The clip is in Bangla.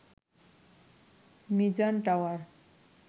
মিজান টাওয়ার